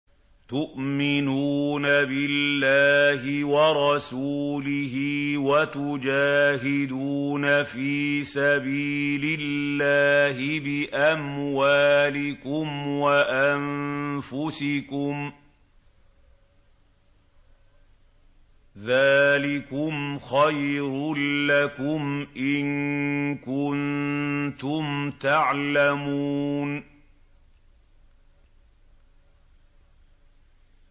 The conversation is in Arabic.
تُؤْمِنُونَ بِاللَّهِ وَرَسُولِهِ وَتُجَاهِدُونَ فِي سَبِيلِ اللَّهِ بِأَمْوَالِكُمْ وَأَنفُسِكُمْ ۚ ذَٰلِكُمْ خَيْرٌ لَّكُمْ إِن كُنتُمْ تَعْلَمُونَ